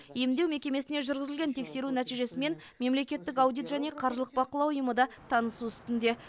емдеу мекемесіне жүргізілген тексеру нәтижесімен мемлекеттік аудит және қаржылық бақылау ұйымы да танысу үстінде